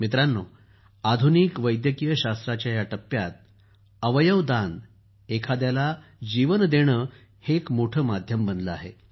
मित्रांनो आधुनिक वैद्यकीय शास्त्राच्या या टप्प्यात अवयव दान एखाद्याला जीवन देणं हे एक मोठं माध्यम बनलं आहे